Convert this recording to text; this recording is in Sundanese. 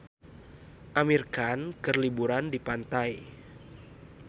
Amir Khan keur liburan di pantai